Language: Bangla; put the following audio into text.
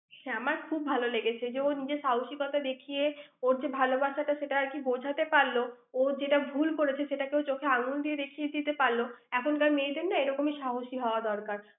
আমার খুব ভাল লেগেছে। যে ও নিজের সাহসিকতা দেখিয়ে, ওর যে ভালোবাসাটা সেটা আরকি বোঝাতে পারল। ওর যেটা ভুল করেছে সেটা ও চোখে আঙুল দিয়ে দেখিয়ে দিতে পারল। এখনকার মেয়েদের না এ রকমই সাহসী হওয়া দরকার।